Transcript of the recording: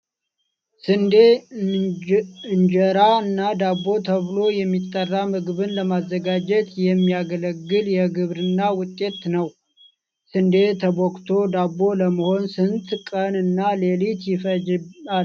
ስንዴ እንጀራ እና ዳቦ ተብሎ የሚጠራ ምግብን ለማዘጋጀት የሚያገለግል የግብርና ውጤት ነው። ስንዴ ተቦክቶ ዳቦ ለመሆን ስንት ቀን እና ሌሊት ይፈጃል?